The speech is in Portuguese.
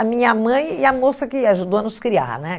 A minha mãe e a moça que ajudou a nos criar, né?